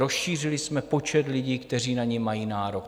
Rozšířili jsme počet lidí, kteří na ni mají nárok.